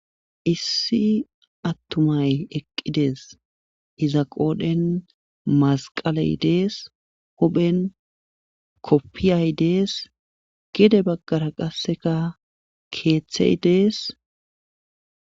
issi attumay eqqidees iza qoodhen masqaley dees huphen koppiyay dees gide baggara qasseka keeththey dees